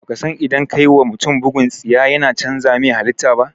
Baka san idan ka wa mutum bugun tsiya yana cànza mai halita ba?